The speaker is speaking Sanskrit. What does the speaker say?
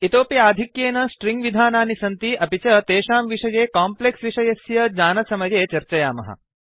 इतोऽपि आधिक्येन स्ट्रिङ्ग् विधानानि सन्ति अपि च तेषां विषये काम्प्लेक्स् विषयस्य ज्ञानसमये चर्चयामः